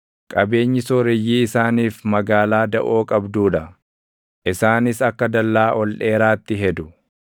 Qabeenyi sooreyyii isaaniif magaalaa daʼoo qabduu dha; isaanis akka dallaa ol dheeraatti hedu.